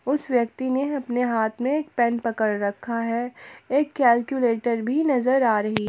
उस व्यक्ति ने अपने हाथ में एक पेन पकड़ रखा है एक कैलकुलेटर भी नजर आ रही--